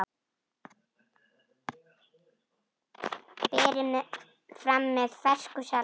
Berið fram með fersku salati.